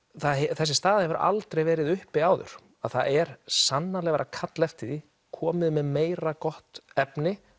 þessi staða hefur aldrei verið uppi áður það er sannarlega verið að kalla eftir því komið með meira gott efni